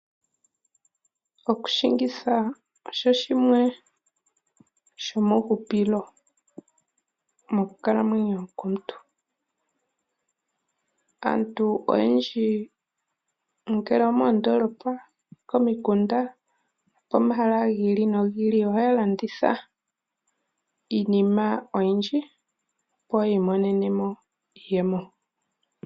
Oku shingitha osho shimwe shomuhupilo monkalamwenyo yomuntu. Aantu oyendji kutya oomondolopa, oko miikunda okomahala gi ili no gi ili oha ya landitha iinima oyindji opo yiimonenemo iiyemo.